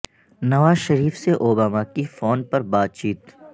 نواز شریف سے اوباما کی فون پر بات چیت